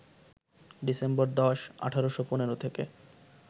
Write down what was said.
December ১০, ১৮১৫ থেকে